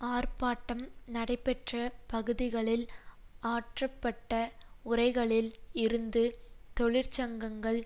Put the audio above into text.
ஆர்ப்பாட்டம் நடைபெற்ற பகுதிகளில் ஆற்றப்பட்ட உரைகளில் இருந்து தொழிற்சங்கங்கள்